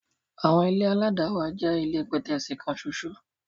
Àwọn ilé aládàáwà jẹ́ ilé pẹ̀tẹ́ẹ̀sì kan ṣoṣo.